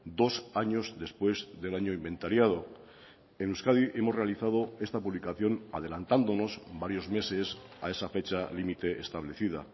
dos años después del año inventariado en euskadi hemos realizado esta publicación adelantándonos varios meses a esa fecha límite establecida